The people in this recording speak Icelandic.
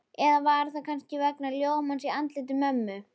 Eða var það kannski vegna ljómans á andliti mömmu?